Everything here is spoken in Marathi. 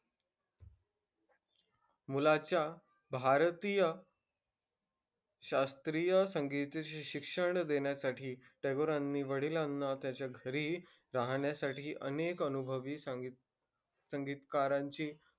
मुलाच्या भारतीय शास्त्रीय संगीताचे शिक्षण देण्यासाठी टागोरांनी वडिलांना त्याच्या घरीही राहण्यासाठी अनेक अनुभवे सांगित संगीतकारांची,